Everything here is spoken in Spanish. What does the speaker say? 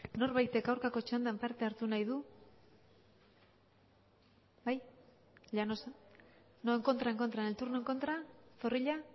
norbaitek aurkako txandan parte hartu nahi du bai llanos no en contra en contra en el turno en contra zorrilla